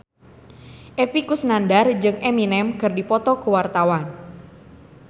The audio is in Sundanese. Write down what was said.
Epy Kusnandar jeung Eminem keur dipoto ku wartawan